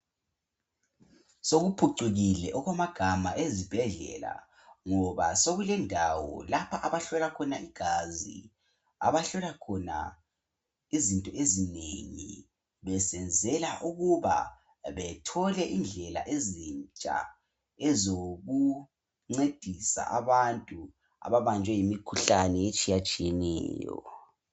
sokuphucukile okwamagama ezibhedlela ngoba sekulendawo lapho abahlola khona igazi abahlola khona izinto ezinengi besenzela ukuba bebelendlela ezintsha zokuncedisa abantu ababnjwe yimikhuhlane etshiyatshiyeneyo